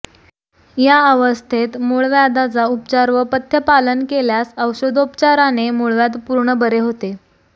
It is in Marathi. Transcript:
या अवस्थेत मूळव्याधाचा उपचार व पथ्थपालन केल्यास औषधोपचाराने मुळव्याध पूर्ण बरे होते